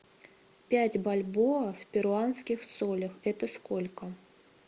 пять бальбоа в перуанских солях это сколько